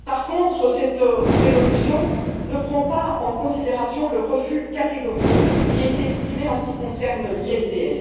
Cependant, cette résolution ne prend pas en considération le refus catégorique qui a été exprimé en ce qui concerne le RDIE.